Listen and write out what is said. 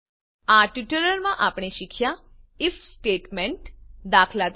આ ટ્યુટોરીયલમાં આપણે શીખ્યાં આઇએફ સ્ટેટમેન્ટ દાત